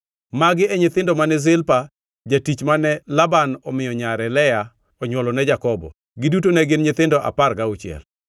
Magi e nyithindo mane Zilpa, jatich mane Laban omiyo nyare Lea onywolo ne Jakobo. Giduto ne gin nyithindo apar gauchiel.